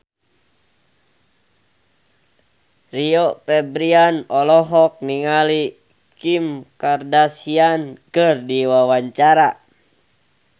Rio Febrian olohok ningali Kim Kardashian keur diwawancara